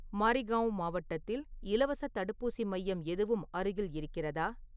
மாரிகாவ் மாவட்டத்தில் இலவசத் தடுப்பூசி மையம் எதுவும் அருகில் இருக்கிறதா?